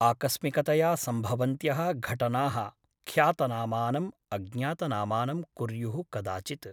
आकस्मिकतया सम्भवन्त्यः घटनाः ख्यातनामानम् अज्ञातनामानं कुर्युः कदाचित् ।